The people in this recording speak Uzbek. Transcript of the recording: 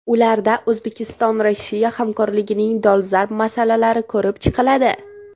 Ularda O‘zbekistonRossiya hamkorligining dolzarb masalalari ko‘rib chiqiladi.